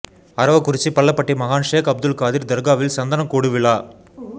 அரவக்குறிச்சி பள்ளபட்டி மகான் ஷேக் அப்துல் காதிர் தர்காவில் சந்தனக்கூடு விழா